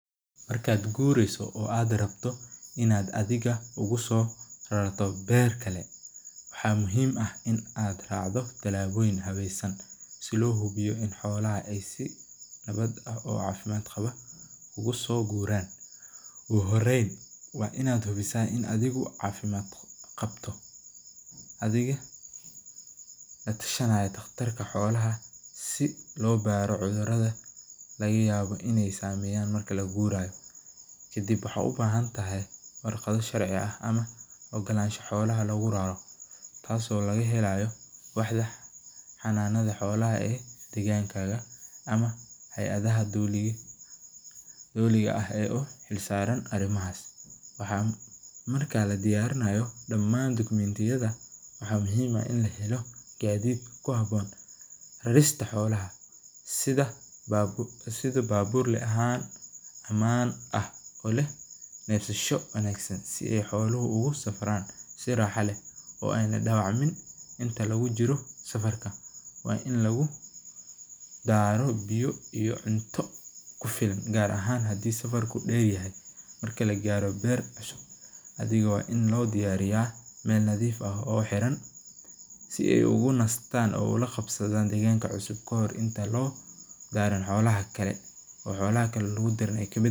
Markaad gureyso oo aad rabto inaad soo rarato, si loo hubiyo inaay xoalaha si wanagsan oogu yimadan, kadib waxaad ubahan tahay warqad sharci ah, waxaa marka ladiyaarinaayo waxaa muhiim ah in lahelo sida baburka, si aay xoluhu unoqdaan mid raaxo leh, gaar ahaan markuu safarka deer yahay, si aay ula qabsadaan deeganka cusub.